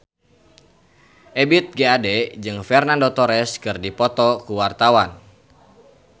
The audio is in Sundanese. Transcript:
Ebith G. Ade jeung Fernando Torres keur dipoto ku wartawan